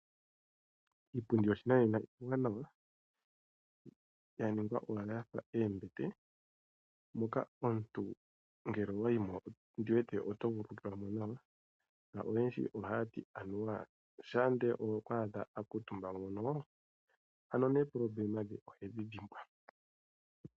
Iipundi yoshinanena iiwanawa ya ningwa owala ya fa oombete moka omuntu ngele owa yi mo ondi wete oto vulu okukala mo nawa noyendji ohaya ti anuwa shampa ndele owa adha a kuutumba mo mono nuupyakadhi hewu dhimbwa.